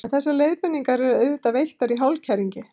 en þessar leiðbeiningar eru auðvitað veittar í hálfkæringi